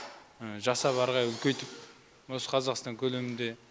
жасап әрі қарай үлкейтіп осы қазақстан көлемінде